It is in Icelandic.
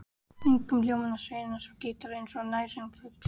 Kringum hljómana sveimar svo gítarinn eins og nærsýnn fugl.